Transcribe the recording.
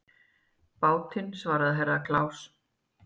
Bátinn, svaraði Herra Kláus.